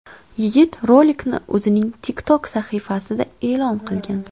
Yigit rolikni o‘zining TikTok sahifasida e’lon qilgan.